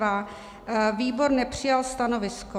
Výbor nepřijal stanovisko.